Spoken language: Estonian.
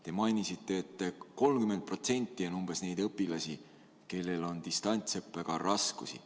Te mainisite, et 30% on umbes neid õpilasi, kellel on distantsõppega raskusi.